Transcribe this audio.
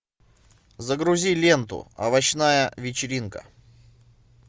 загрузи ленту овощная вечеринка